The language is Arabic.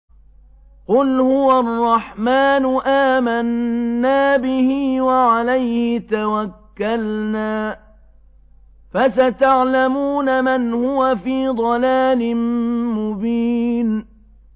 قُلْ هُوَ الرَّحْمَٰنُ آمَنَّا بِهِ وَعَلَيْهِ تَوَكَّلْنَا ۖ فَسَتَعْلَمُونَ مَنْ هُوَ فِي ضَلَالٍ مُّبِينٍ